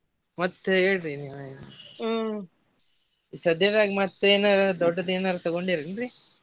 ಮತ್ತ್ ಹೇಳ್ರಿ ನೀವೆ ಏನಾರ ಸದ್ಯನ್ಯಾಗ ಮತ್ತೆ ಏನ ದೊಡ್ಡದ ಏನಾರ ತುಗೊಂಡೆರಿ ಏನ್ರೀ?